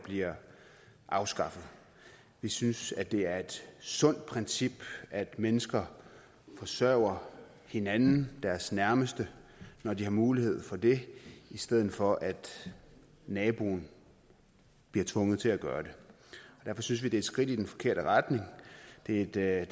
bliver afskaffet vi synes det er et sundt princip at mennesker forsørger hinanden deres nærmeste når de har mulighed for det i stedet for at naboen bliver tvunget til at gøre det derfor synes vi det er et skridt i den forkerte retning det at